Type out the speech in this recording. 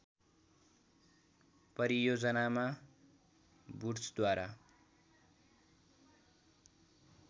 परियोजनामा वुड्सद्वारा